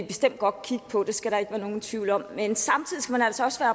bestemt godt kigge på det skal der ikke være nogen tvivl om men samtidig skal man altså også